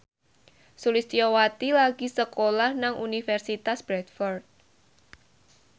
Sulistyowati lagi sekolah nang Universitas Bradford